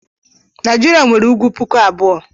Naijiria nwere ùgwù pụkụ abụọ.